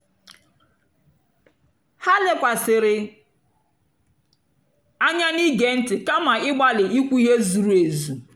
ha lèkwàsị̀rị́ ànyá n'ìgé ntị́ kàma ị̀gbálì ìkwú ihe zùrù èzù.